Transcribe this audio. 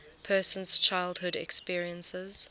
person's childhood experiences